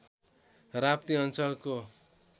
राप्ती अञ्चलको